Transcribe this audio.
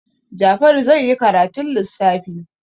Jafaru zai yi karatun lissafi.